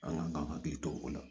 An ka k'an hakili to o la